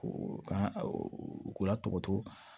Ka u k'u la tɔgɔtɛ